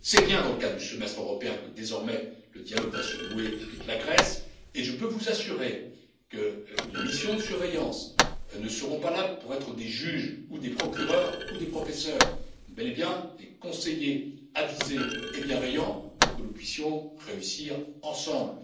C'est bien dans le cadre du Semestre européen que, désormais, le dialogue va se nouer avec la Grèce et je peux vous assurer que les missions de surveillance ne seront pas là pour être des juges, des procureurs ou des professeurs, mais bel et bien des conseillers avisés et bienveillants pour que nous puissions réussir ensemble.